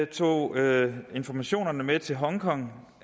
tog informationerne med til hongkong